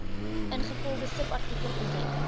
ingevolge subartikel onthef